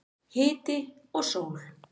Hiti og sól.